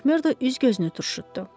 Makmerdo üz-gözünü turşutdu.